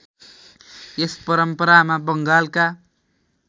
यस परम्परामा बङ्गालका